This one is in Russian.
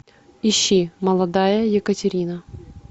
ищи молодая екатерина